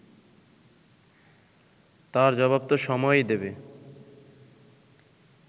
তার জবাবতো সময়ই দেবে